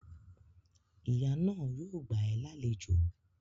Ìyá náà yóò gbà ẹ́ lálejò